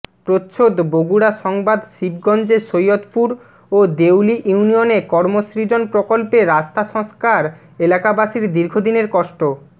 প্রচ্ছদ বগুড়া সংবাদ শিবগঞ্জে সৈদয়পুর ও দেউলী ইউনিয়নে কর্মসৃজন প্রকল্পে রাস্তা সংস্কার এলাকাবাসীর দীর্ঘদিনের কষ্ট